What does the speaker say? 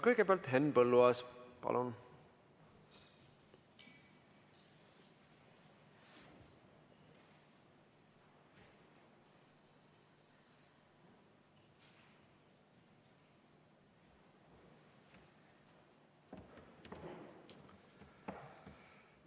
Kõigepealt Henn Põlluaas, palun!